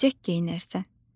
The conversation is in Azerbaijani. Əlcək geyinərsən.